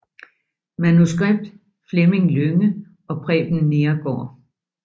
Manuskript Fleming Lynge og Preben Neergaard